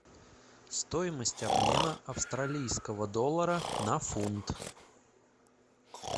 стоимость обмена австралийского доллара на фунт